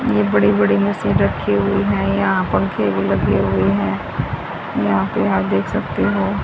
ये बड़ी बड़ी मशीन रखी हुई हैं। यहां पंखे भी लगे हुए है। यहां पे आप देख सकते हो।